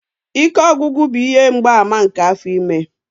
Ike ọgwụgwụ bụ ihe mgbaàmà nke afọ ime.